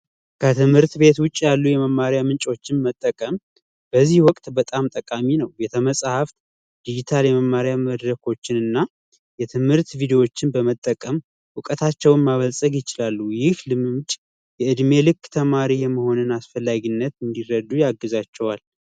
ከትምህርት ቤት ውጭ ያሉ የመማሪያ ምንጮች መጠቀም ወቅት በጣም ጠቃሚ ነው የተመጽሐፍ የመማሪያ መድረኮችንና የትምህርት ቪዲዎችን በመጠቀም እውቀታቸውን ማበልፀግ ይችላሉ ይህ እድሜ ልክ ተማሪ የመሆንን አስፈላጊነት እንዲረዱ ያግዛቸዋል